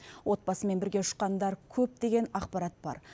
отбасымен бірге ұшқандар көп деген ақпарат бар